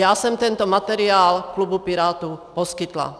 Já jsem tento materiál klubu Pirátů poskytla.